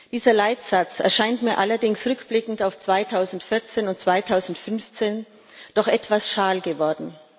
Dieser Leitsatz erscheint mir allerdings rückblickend auf 2014 und 2015 doch etwas schal geworden.